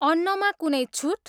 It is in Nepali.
अन्नमा कुनै छुट?